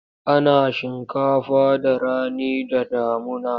Ana shinkafa da rani da damuna.